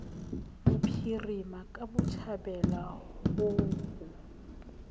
bophirima ka botjhabela ho ho